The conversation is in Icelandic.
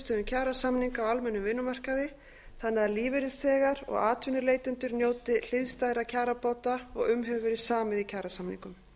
niðurstöðum kjarasamninga á almennum vinnumarkaði þannig að lífeyrisþegar og atvinnuleitendur njóti hliðstæðra kjarabóta og um hefur verið samið í kjarasamningum